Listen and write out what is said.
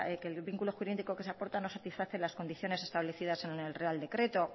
que el vínculo jurídico que se aporta no satisface las condiciones establecidas en el real decreto